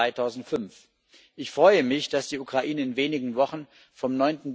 2005. Ich freue mich, dass die Ukraine in wenigen Wochen, vom